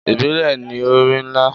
Ibile ni ori nla